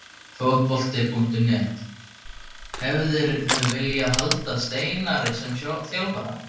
Fótbolti.net: Hefðirðu viljað halda Steinari sem þjálfara?